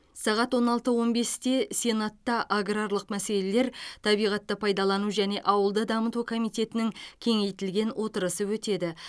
сағат он алты он бесте сенатта аграрлық мәселелер табиғатты пайдалану және ауылды дамыту комитетінің кеңейтілген отырысы өтеді